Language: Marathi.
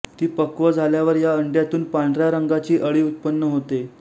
ती पक्व झाल्यावर या अंड्यांतून पांढऱ्या रंगाची अळी उत्पन्न होते